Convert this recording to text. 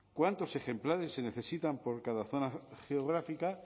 cuántos ejemplares se necesitan por cada zona geográfica